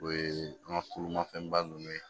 O ye an ka kurunmafɛnba ninnu ye